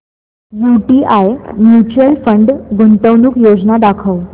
UTI mutual fund गुंतवणूक योजना दाखव